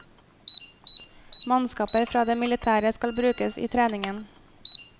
Mannskaper fra det militære skal brukes i treningen.